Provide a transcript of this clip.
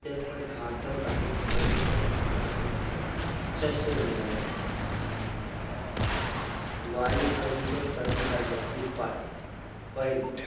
अत्यन्त घातक आणि प्रदूषकाली शस्त्र मिळाले वायू प्रदुष कमी करण्याचे उपाय पाहिलं